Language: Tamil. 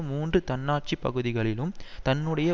மூன்று தன்னாட்சி பகுதிகளிலும் தன்னுடைய